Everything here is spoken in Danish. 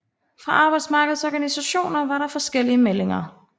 Fra arbejdsmarkedets organisationer var der forskellige meldinger